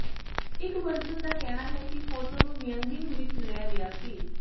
ਇੱਕ ਵਰਜਨ ਦਾ ਕਹਿਣਾ ਹੈ ਕਿ ਫੋਟੋ ਨੂੰ ਵਾਯਿੰਗਿੰਗ ਵਿੱਚ ਲਿਆ ਗਿਆ ਸੀ